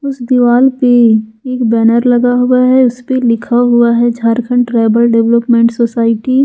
इस दीवाल पे एक बैनर लगा हुआ है उसपे लिखा हुआ है झारखंड ट्राईबल डेवलपमेंट सोसाइटी ।